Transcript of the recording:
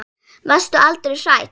Varstu aldrei hrædd?